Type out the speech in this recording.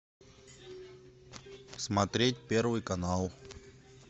смотреть первый канал